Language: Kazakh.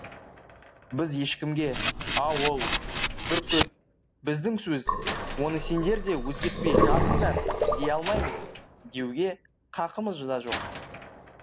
біз ешкімге ауыл бүркіт біздің сөз оны сендер де өзгертпей жазыңдар дей алмаймыз деуге қақымыз да жоқ